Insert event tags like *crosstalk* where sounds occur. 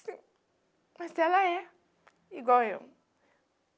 Sim, mas ela é igual eu. *cries*